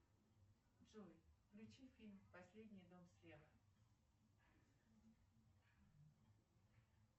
джой включи фильм последний дом слева